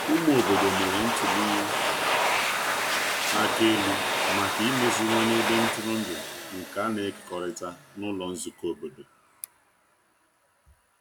Ụmụ obodo mere ntuli aka elu maka imeziwanye ebe ntụrụndụ nke a na-ekekọrịta n’ụlọ nzukọ obodo.